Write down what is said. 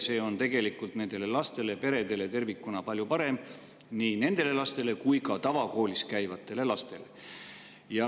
See on tegelikult nendele lastele ja peredele tervikuna palju parem, nii nendele lastele kui ka tavakoolis käivatele lastele.